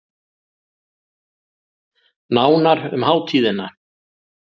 Nánar um hátíðina